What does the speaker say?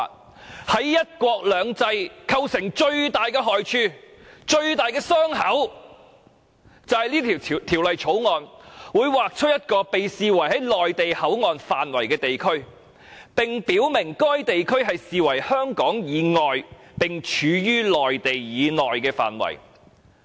《條例草案》將對"一國兩制"造成極大的害處和傷口，因為香港將會劃出一個被視為內地口岸範圍的地區，而該地區將被視為處於香港以外並處於內地以內的範圍。